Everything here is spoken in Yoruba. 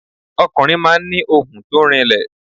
Ọkùnrin máa ń ni ohùn to rinlẹ̀